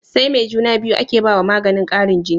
SAi me juna biyu ake bawa maganin Karin jini